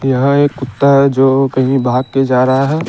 यहाँ एक कुत्ता है जो कहीं भाग के जा रहा है।